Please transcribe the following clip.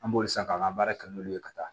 An b'olu san k'an ka baara kɛ n'olu ye ka taa